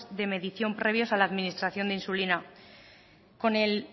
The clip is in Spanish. de medición previa a la administración de insulina con el